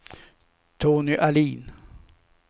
Tony Ahlin